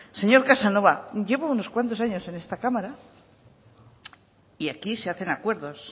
señor casanova llevo unos cuantos años en esta cámara y aquí se hacen acuerdos